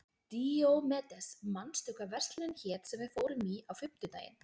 Díómedes, manstu hvað verslunin hét sem við fórum í á fimmtudaginn?